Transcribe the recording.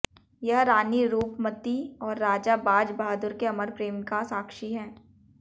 यह रानी रूपमती और राजा बाज बहादुर के अमर प्रेम का साक्षी है